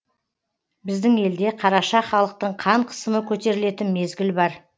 біздің елде қараша халықтың қан қысымы көтерілетін мезгіл бар